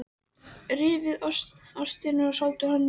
Rífið ostinn og sáldrið honum yfir réttinn.